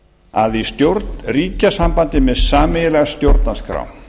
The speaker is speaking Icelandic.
að í stjórnríkjasambandi með sameiginlega stjórnarskrá